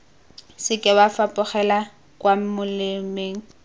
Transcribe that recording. seke wa fapogela kwa molemeng